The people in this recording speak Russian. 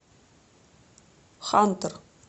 хантер